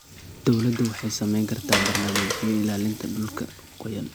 Dawladdu waxay samayn kartaa barnaamijyo ilaalinta dhulka qoyan.